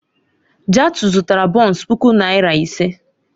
Jatau zụtara bọns puku naira ise.